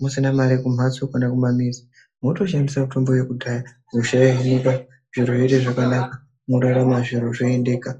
musina mare kumhatso kana kumamizi motoshandisa mitombo yekudhaya hosha yohinika zviro zvoite zvakanaka morarama zviro zvoendeka.